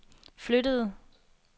flyttede